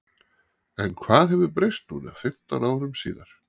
En hvað hefur breyst núna fimmtán árum síðar?